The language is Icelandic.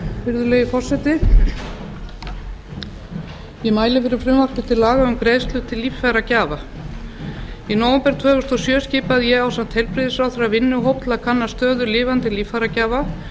virðulegi forseti ég mæli fyrir frumvarpi til laga um greiðslu til líffæragjafa í nóvember tvö þúsund og sjö skipaði ég ásamt heilbrigðisráðherra vinnuhóp til að kanna stöðu lifandi líffæragjafa